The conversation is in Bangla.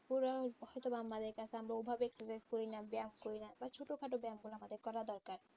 হয়ত বা আমাদের কাছে মানে ওভাবে করিনা ব্যায়াম করিনা কারণ ছোটখাটো ব্যায়ামগুলো আমাদের করা দরকার